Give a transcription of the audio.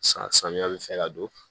San samiya bi fɛ ka don